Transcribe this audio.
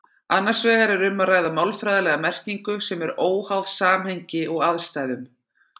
Annars vegar er um að ræða málfræðilega merkingu sem er óháð samhengi og aðstæðum.